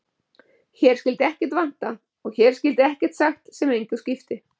Hér skyldi ekkert vanta og hér skyldi ekkert sagt sem engu skipti.